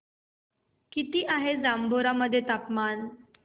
किती आहे जांभोरा मध्ये तापमान